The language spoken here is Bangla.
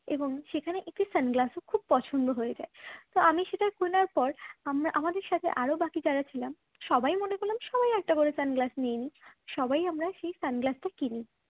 এবং সেখানে একটি sunglass ও খুব পছন্দ হয়েছে। তো আমি সেটা কেনার পর আমরা আমাদের সাথে আরও বাকি যারা ছিলাম সবাই মনে করলাম সবাই একটা করে sunglass নিয়ে নিই সবাই আমরা সেই sunglass টা কিনি